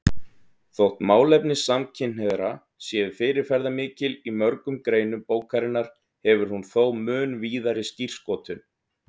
Þótt málefni samkynhneigðra séu fyrirferðarmikil í mörgum greinum bókarinnar hefur hún þó mun víðari skírskotun.